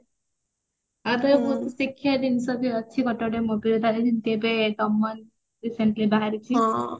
ଆଉ ବହୁତ ଶିଖିବା ଜିନିଷ ବି ଅଛି ଗୋଟେ ଗୋଟେ movie ରେ ତାର ଯେମତି ଏବେ ଦମନ ସେମତି ବହାରିଚି